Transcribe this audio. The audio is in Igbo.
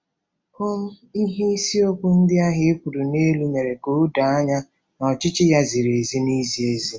um Ihe iseokwu ndị ahụ e kwuru n'elu mere ka o doo anya na ọchịchị ya ziri ezi na izi ezi.